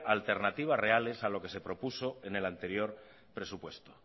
alternativas reales a lo que se propuso en el anterior presupuesto